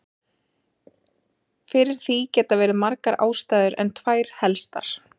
Fyrir því geta verið margar ástæður en tvær helstar.